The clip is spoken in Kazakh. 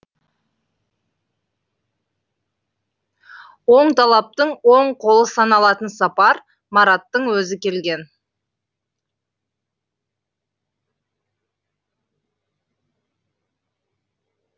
оңталаптың оң қолы саналатын сапар мараттың өзі келген